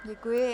Děkuji.